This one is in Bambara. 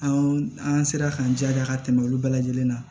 Anw an sera k'an jija ka tɛmɛ olu bɛɛ lajɛlen kan